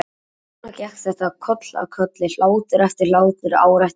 Og svona gekk þetta koll af kolli, hlátur eftir hlátur, ár eftir ár.